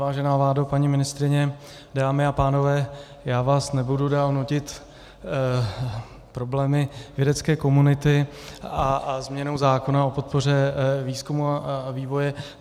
Vážená vládo, paní ministryně, dámy a pánové, já vás nebudu dál nudit problémy vědecké komunity a změnou zákona o podpoře výzkumu a vývoje.